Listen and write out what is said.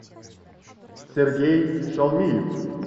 сергей шалмиев